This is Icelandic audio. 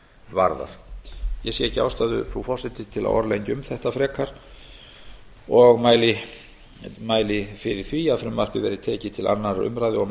varðar ég sé ekki ástæðu frú forseti til að orðlengja um þetta frekar og mæli fyrir því að frumvarpið verði tekið til annarrar umræðu og